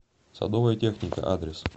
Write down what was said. садовая техника адрес